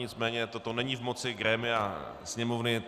Nicméně toto není v moci grémia Sněmovny.